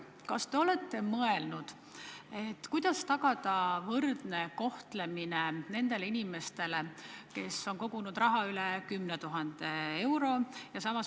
Kas te olete mõelnud, kuidas tagada võrdne kohtlemine nendele inimestele, kes on kogunud raha üle 10 000 euro?